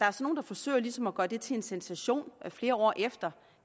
er nogle der forsøger ligesom at gøre det til en sensation flere år efter